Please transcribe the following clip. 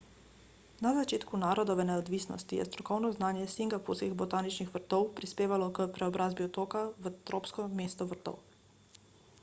na začetku narodove neodvisnosti je strokovno znanje singapurskih botaničnih vrtov prispevalo k preobrazbi otoka v tropsko mesto vrtov